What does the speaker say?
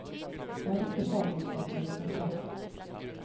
Det er ikke fagkunnskapene det står på.